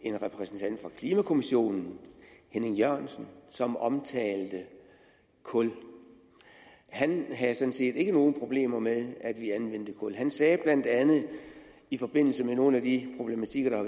en repræsentant for klimakommissionen henning jørgensen som omtalte kul han havde sådan set ikke nogen problemer med at vi anvendte kul han sagde blandt andet i forbindelse med nogle af de problematikker der er